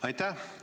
Aitäh!